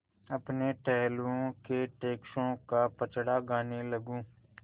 अपने टहलुओं के टैक्सों का पचड़ा गाने लगूँ